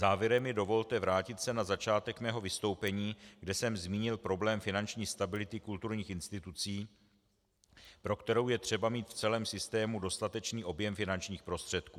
Závěrem mi dovolte vrátit se na začátek svého vystoupení, kde jsem zmínil problém finanční stability kulturních institucí, pro kterou je třeba mít v celém systému dostatečný objem finančních prostředků.